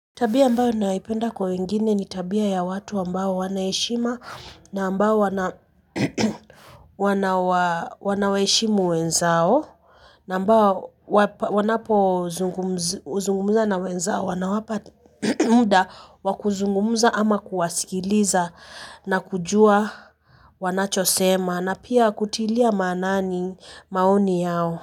Tabia ambayo naipenda kwa wengine ni tabia ya watu ambao wana heshima na ambao wana wanawaheshimu wenzao na ambao wanapozungumza na wenzao wanawapa muda wa kuzungumza ama kuwasikiliza na kujua wanachosema na pia kutilia maanani maoni yao.